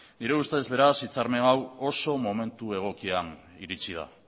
nire ustez beraz akordio hau oso momentu egokian iritsi da